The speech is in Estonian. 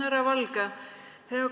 Härra Valge!